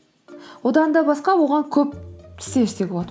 одан да басқа оған көп істер істеуге болады